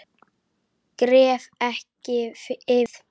Gref ekki yfir það.